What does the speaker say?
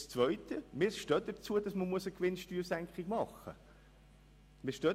Zweitens: Wir stehen dazu, dass man eine Gewinnsteuersenkung veranlassen muss.